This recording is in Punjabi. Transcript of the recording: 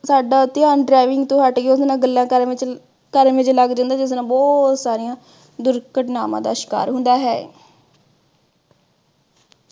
ਸਾਡਾ ਧਿਆਨ driving ਤੋਂ ਹੱਟ ਕੇ ਉਹਦੇ ਨਾਲ ਗੱਲਾਂ ਕਰਨ ਵਿਚ ਕਰਨ ਵਿਚ ਲੱਗ ਜਾਂਦਾ, ਜਿਹਦੇ ਨਾਲ ਬਹੁਤ ਸਾਰੀਆਂ ਦੁਰਘਟਨਾਵਾਂ ਦਾ ਸ਼ਿਕਾਰ ਹੁੰਦਾ ਹੈ।